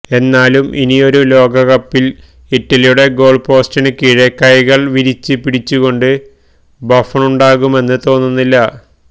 എന്നാലും ഇനിയൊരു ലോകകപ്പില് ഇറ്റലിയുടെ ഗോള് പോസ്റ്റിന് കീഴെ കൈകള് വിരിച്ച് പിടിച്ചുകൊണ്ട് ബഫണുണ്ടാകുമെന്ന് തോന്നുന്നില്ല